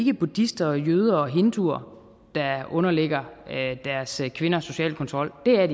er buddhister jøder og hinduer der underlægger deres kvinder social kontrol det er